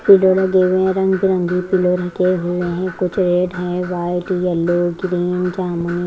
पिले रंगे हुए है कुछ रंग बिरंगे पिलर ढके हुए हैकुछ रेड है व्हाइट येलो ग्रीन जामुनि--